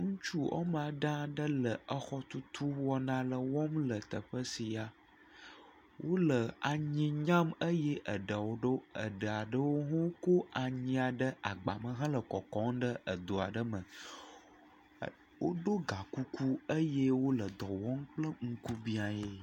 Ŋutsu woame ade aɖe le exɔtutu wɔna ale wɔm le teƒe sia. Wole anyi nyam eye eɖe aɖewo, eɖe aɖewo hã wokɔ anyi aɖewo ɖe agbame hele kɔkɔm ɖe edo aɖe me. Woɖɔ gakuku eye wole dɔ wɔm kple ŋkubiãee.